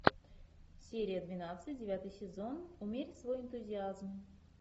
серия двенадцать девятый сезон умерь свой энтузиазм